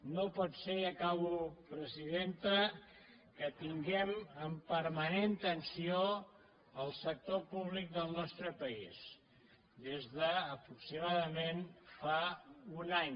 no pot ser i acabo presidenta que tinguem en permanent tensió el sector públic del nostre país des d’aproximadament fa un any